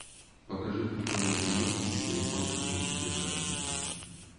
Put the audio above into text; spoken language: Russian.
покажи прикольную киношку типа японской мультипликации